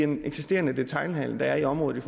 den eksisterende detailhandel der er i området